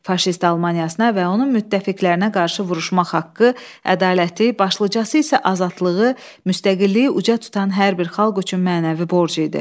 Faşist Almaniyasına və onun müttəfiqlərinə qarşı vuruşmaq haqqı ədaləti, başlıcası isə azadlığı, müstəqilliyi uca tutan hər bir xalq üçün mənəvi borc idi.